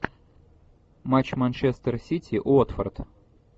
матч манчестер сити уотфорд